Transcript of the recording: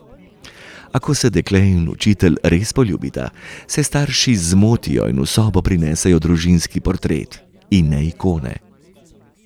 A ko se dekle in učitelj res poljubita, se starši zmotijo in v sobo prinesejo družinski portret, in ne ikone.